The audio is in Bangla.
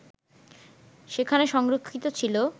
সেখানে সংরক্ষিত ছিল